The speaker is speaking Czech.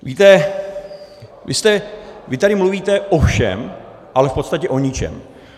Víte, vy tady mluvíte o všem, ale v podstatě o ničem.